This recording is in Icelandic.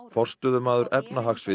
forstöðumaður